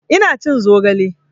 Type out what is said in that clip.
Ina cin zogale